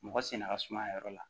Mɔgɔ sen da ka suma a yɔrɔ la